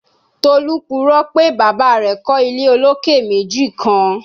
Tolu purọ pe baba rẹ kọ ile oloke meji kan